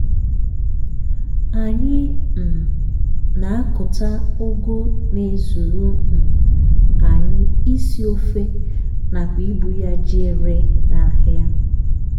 anyị um na-akụta ụgụ na-ezuru um anyị isi ofe nakwa ibu ya jee ree n'ahịa.